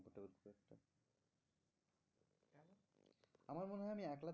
আমার মনে হয় আমি একলা